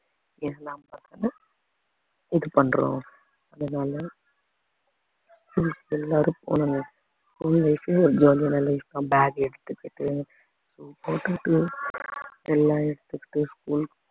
எல்லா பக்கமும் இது பண்றோம் அதனால school க்கு எல்லாரும் போகணுங்க school life ஐயும் ஒரு jolly ஆன life தான் bag எடுத்துக்கிட்டு shoe போட்டுக்கிட்டு எல்லாம் எடுத்துக்கிட்டு school க்கு